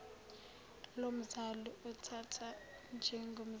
lomzali uthathwa njengomzali